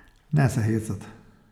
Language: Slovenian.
Ne se hecat.